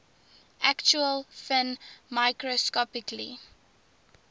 actual film microscopically